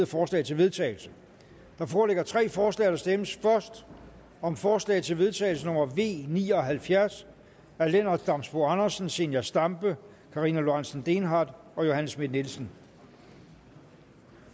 forslag til vedtagelse der foreligger tre forslag der stemmes først om forslag til vedtagelse nummer v ni og halvfjerds af lennart damsbo andersen zenia stampe karina lorentzen dehnhardt og johanne schmidt nielsen